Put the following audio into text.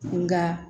Nka